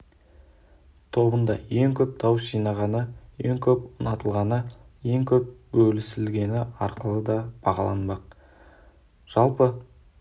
тобында ең көп дауыс жинағаны ең көп ұнатылғаны ең көп бөлісілгені арқылы да бағаланбақ жалпы